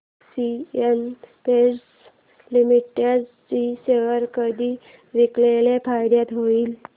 Asian paints limited चे share कधी विकल्यास फायदा होईल